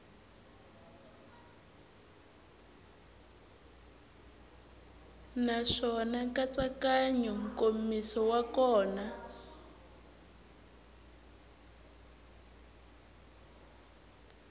naswona nkatsakanyo nkomiso wa kona